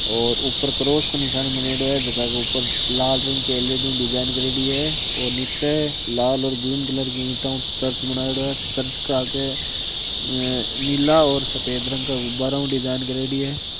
और ऊपर क्रॉस का निशान मनेड़ो है ज़का को ऊपर लाल रंग के एलेडी ऊ डिजाइन करेड़ी है और नीचे लाल और ग्रीन की ईंट चर्च बनायेडो है चर्च का आगे नीला और सफ़ेद रंग का गुब्बारा ऊ डिज़ाइन करेडी है।